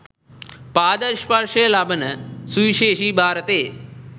පාද ස්පර්ශය ලබන සුවිශේෂ භාරතයේ